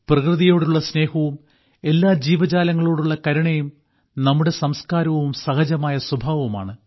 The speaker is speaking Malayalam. പ്രകൃതിയോടുള്ള സ്നേഹവും എല്ലാ ജീവജാലങ്ങളോടുള്ള കരുണയും നമ്മുടെ സംസ്കാരവും സഹജമായ സ്വഭാവവുമാണ്